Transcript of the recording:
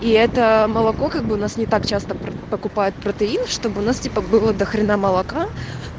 и это молоко как бы нас не так часто покупают протеин чтобы у нас типо было до хрена молока